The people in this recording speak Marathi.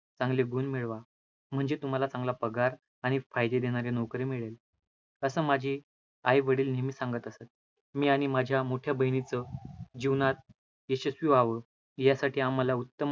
चांगले गुण मिळवा, म्हणजे तुम्हाला चांगला पगार आणि फायदे देणारी नोकरी मिळेल, असा माझे आई वडील नेहमी सांगत असतं. मी आणि माझ्या मोठ्या बहिणीच जीवनात यशस्वी व्हावं, यासाठी आम्हाला